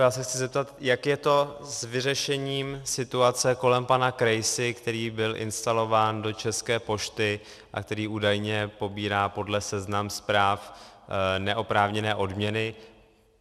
Já se chci zeptat, jak je to s vyřešením situace kolem pana Krejsy, který byl instalován do České pošty a který údajně pobírá podle seznam.zpráv neoprávněné odměny.